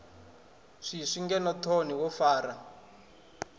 swiswi ngeno thoni wo fara